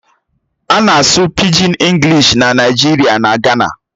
A na-asụ Pịgin Englịshi na Naịjirịa na Gana.